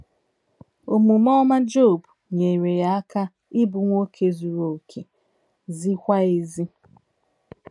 Omume ọma Job nyeere ya aka ịbụ nwoke “ zuru okè, ziekwa ezie. ”